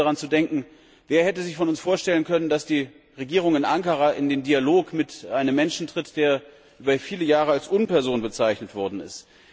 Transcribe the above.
Man braucht nur daran zu denken Wer von uns hätte sich vorstellen können, dass die Regierung in Ankara in einen Dialog mit einem Menschen tritt, der über viele Jahre als Unperson bezeichnet worden ist?